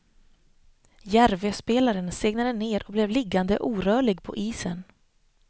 Järvöspelaren segnade ned och blev liggande orörlig på isen.